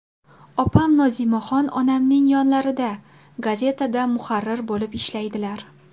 Opam Nozimaxon onamning yonlarida, gazetada muharrir bo‘lib ishlaydilar.